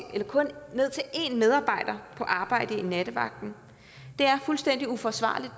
kun en medarbejder på arbejde i nattevagten det er fuldstændig uforsvarligt